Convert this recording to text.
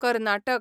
Karnataka